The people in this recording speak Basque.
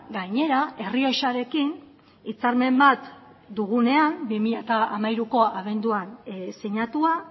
gainera errioxarekin hitzarmen bat dugunean bi mila hamairuko abenduan sinatua